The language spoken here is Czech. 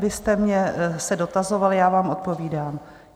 vy jste mě se dotazoval, já vám odpovídám.